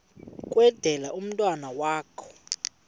kwendele umntwana wakho